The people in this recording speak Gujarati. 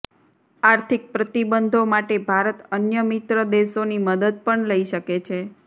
આર્થિક પ્રતિબંધો માટે ભારત અન્ય મિત્ર દેશોની મદદ પણ લઈ શકે છે